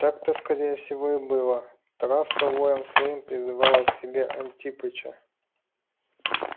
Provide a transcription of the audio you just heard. так-то скорее всего и было травка воем своим призывала к себе антипыча